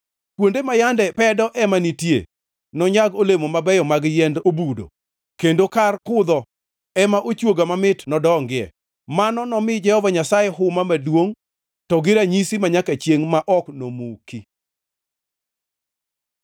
Kuonde ma yande pedo ema nitie, nonyag olemo mabeyo mag yiend obudo, kendo kar kudho ema ochwoga mamit nodongie. Mano nomi Jehova Nyasaye huma maduongʼ, to gi ranyisi manyaka chiengʼ ma ok nomuki.”